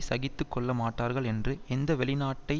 சகித்து கொள்ள மாட்டார்கள் என்று எந்த வெளிநாட்டை